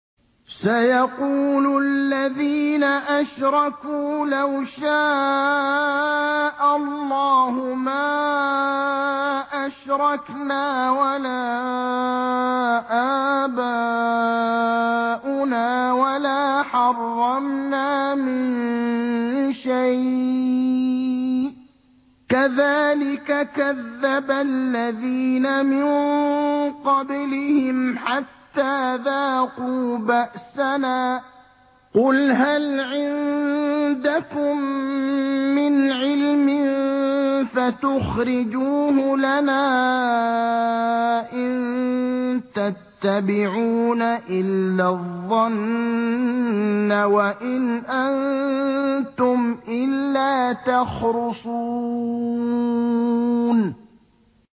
سَيَقُولُ الَّذِينَ أَشْرَكُوا لَوْ شَاءَ اللَّهُ مَا أَشْرَكْنَا وَلَا آبَاؤُنَا وَلَا حَرَّمْنَا مِن شَيْءٍ ۚ كَذَٰلِكَ كَذَّبَ الَّذِينَ مِن قَبْلِهِمْ حَتَّىٰ ذَاقُوا بَأْسَنَا ۗ قُلْ هَلْ عِندَكُم مِّنْ عِلْمٍ فَتُخْرِجُوهُ لَنَا ۖ إِن تَتَّبِعُونَ إِلَّا الظَّنَّ وَإِنْ أَنتُمْ إِلَّا تَخْرُصُونَ